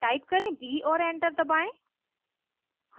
type करें b और enter दबाएं